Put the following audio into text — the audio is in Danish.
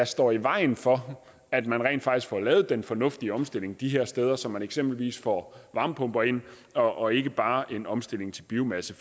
står i vejen for at man rent faktisk får lavet den fornuftige omstilling de her steder så man eksempelvis får varmepumper ind og ikke bare en omstilling til biomasse